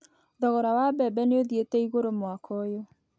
Thogora wa mbembe nĩ ũthiĩte igũrũ mwaka ũyũ